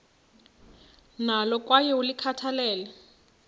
nalo kwaye ulikhathalele